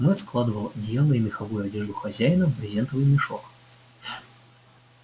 мэтт складывал одеяла и меховую одежду хозяина в брезентовый мешок